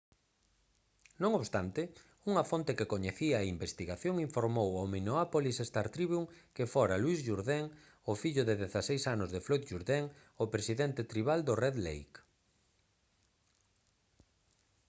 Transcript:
non obstante unha fonte que coñecía a investigación informou ao minneapolis star-tribune que fora louis jourdain o fillo de 16 anos de floyd jourdain o presidente tribal do red lake